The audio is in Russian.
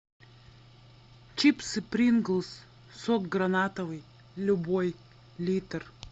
чипсы принглс сок гранатовый любой литр